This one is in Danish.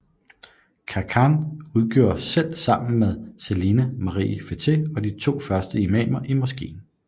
Khankan udgjorde selv sammen med Saliha Marie Fetteh de to første imamer i moskeen